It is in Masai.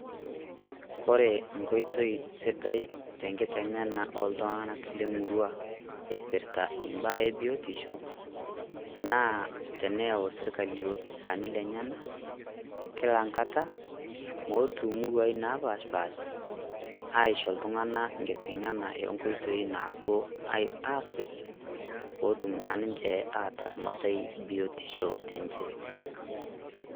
Kore enkoitoi sidai tengiteng'a oltung'anak le murua ibaa ebiotisho naa teneyau sirkali ilopisani lenyenak Kila engata meetu imuruaii naapashapasha aisho iltung'anak engitenge'ena oo nkoitoi naapuo aasuj peetum naa ninche aataramatai biotisho enye.